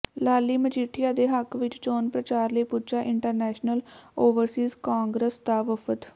ਲਾਲੀ ਮਜੀਠੀਆ ਦੇ ਹੱਕ ਵਿਚ ਚੋਣ ਪ੍ਰਚਾਰ ਲਈ ਪੁਜਾ ਇੰਟਰਨੈਸ਼ਨਲ ਓਵਰਸੀਜ਼ ਕਾਂਗਰਸ ਦਾ ਵਫਦ